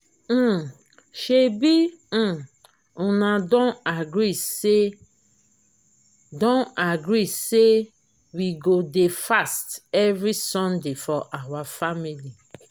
um shebi um una don agree say don agree say we go dey fast every sunday for our family